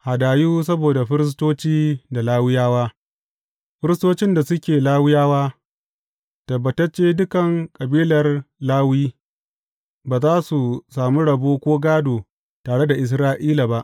Hadayu saboda Firistoci da Lawiyawa Firistocin da suke Lawiyawa, tabbatacce dukan kabilar Lawi, ba za su sami rabo ko gādo tare da Isra’ila ba.